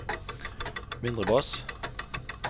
mindre bass